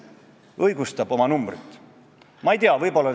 Ma kõnelen peamiselt ühest asjast, mida ma küll mõni minut tagasi juba mainisin.